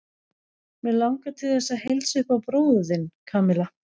Mig langar til þess að heilsa upp á bróður þinn, Kamilla.